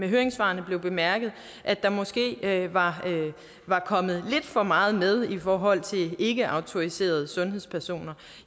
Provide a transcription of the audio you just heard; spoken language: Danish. høringssvarene blev bemærket at der måske var kommet lidt for meget med i forhold til ikkeautoriserede sundhedspersoner